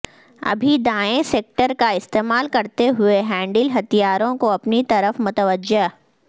ابھی دائیں سیکٹر کا استعمال کرتے ہوئے ہینڈل ہتھیاروں کو اپنی طرف متوجہ